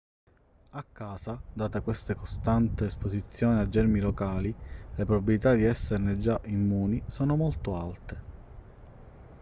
a casa data questa costante esposizione ai germi locali le probabilità di esserne già immuni sono molto alte